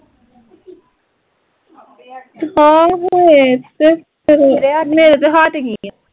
ਆਹੋ ਏਹ ਤੇ ਮੇਰੇ ਤਾਂ ਹਟ ਗਈਆ